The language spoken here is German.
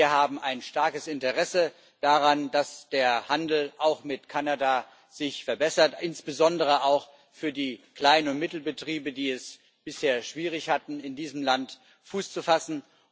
Wir haben ein starkes Interesse daran, dass sich auch der Handel mit Kanada verbessert, insbesondere auch für die Klein und Mittelbetriebe, die es bisher schwierig hatten, in diesem Land Fuß zu fassen.